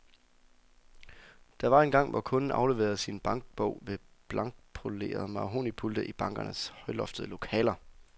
Der var engang, hvor kunden afleverede sin bankbog ved blankpolerede mahognipulte i bankernes højloftede lokaler.